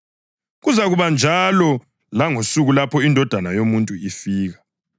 Kuzakuba njalo langosuku lapho iNdodana yoMuntu ifika.